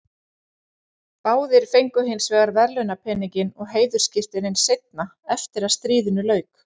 Báðir fengu hins vegar verðlaunapeninginn og heiðursskírteinin seinna, eftir að stríðinu lauk.